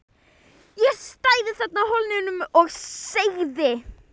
Ég stæði þarna á Hólnum og segði